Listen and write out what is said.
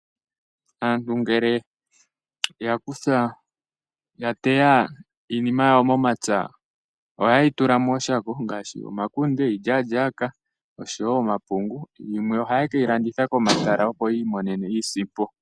Aantu ngele ya teya iinima yawo momapya ohaye yi tula mooshako ngaashi omakunde, iilyaalyaaka osho woo omapungu, yimwe ohaye keyi landitha komatala opo yiimonene iisimpo.